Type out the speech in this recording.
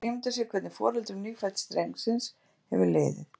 Erfitt er að ímynda sér hvernig foreldrum nýfædds drengsins hefur liðið.